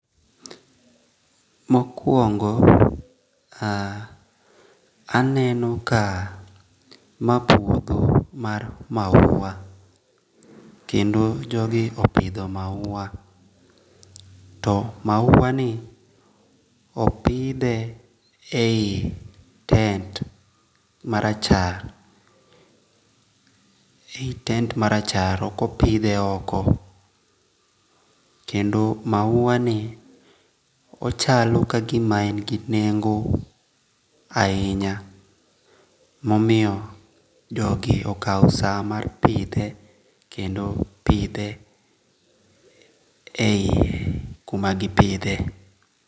Mokuongo a aneno ka mae puotho mar maua, kendo jogi opitho maua to maua ni opithe eyi tent marachar a eyi tent marachar okopithe oko, kendo mauani ochalo ka gima en gi nengo' ahinya momiyo jogie okawo saa mar pithe kendo pithe eyie kuma gipithie .